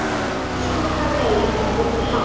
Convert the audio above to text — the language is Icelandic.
Skúffa dregin út til hálfs.